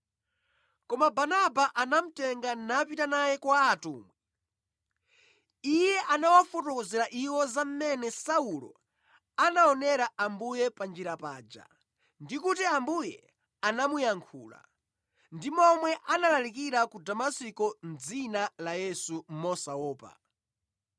Koma Barnaba anamutenga napita naye kwa atumwi. Iye anawafotokozera iwo za mmene Saulo anaonera Ambuye pa njira paja, ndi kuti Ambuye anamuyankhula, ndi momwe analalikira ku Damasiko mʼdzina la Yesu mosaopa.